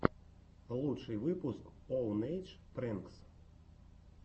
лучший выпуск оунэйдж прэнкс